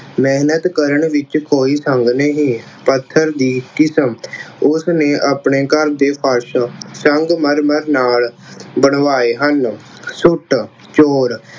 ਮਿਹਨਤ ਕਰਨ ਵਿੱਚ ਕੋਈ ਸੰਗ ਨਹੀਂ। ਪੱਥਰ ਦੀ ਕਿਸਮ, ਉਸਨੇ ਆਪਣੇ ਘਰ ਦੇ ਫ਼ਰਸ਼ ਸੰਗਮਰਮਰ ਨਾਲ ਬਣਵਾਏ ਹਨ। ਸੁੱਟ, ਚੋਰ